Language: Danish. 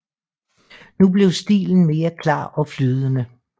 Nu blev stilen mere klar og flydende